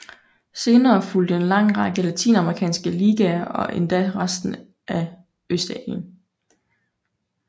Senere fulgte en lang række latinamerikanske ligaer og endelig resten af Østasien